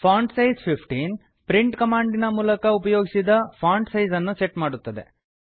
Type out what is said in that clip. font size 15 print ಕಮಾಂಡಿನ ಮೂಲಕ ಉಪಯೋಗಿಸಿದ ಫಾಂಟ್ ಸೈಜ್ ಅನ್ನು ಸೆಟ್ ಮಾಡುತ್ತದೆ